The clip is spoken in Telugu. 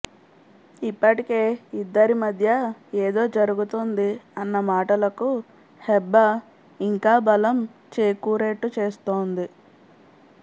ఇప్పటికే ఇద్దరి మధ్య ఏదో జరుగుతుంది అన్న మాటలకు హెబ్భా ఇంకా బలం చేకూరేట్టు చేస్తుంది